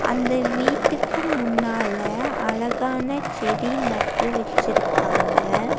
அந்த வீட்டுக்கு முன்னால அழகான செடி நட்டு வச்சிருக்காங்க.